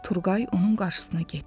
Turqay onun qarşısına getdi.